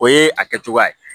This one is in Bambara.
O ye a kɛcogoya ye